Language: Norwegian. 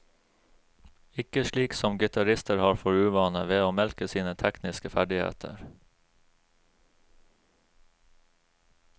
Ikke slik som gitarister har for uvane, ved å melke sine tekniske ferdigheter.